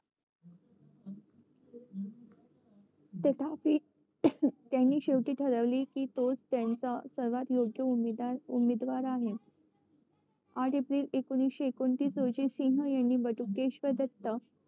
तथापि त्यांनी शेवटी ठरविली कि त्यांचा सर्वात योग्य उमेदवार आहे आठ एप्रिल एकोणीशे एकोणतीस रोजी सिंग यांनी बटुकेश्वर दत्त